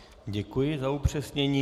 Děkuji za upřesnění.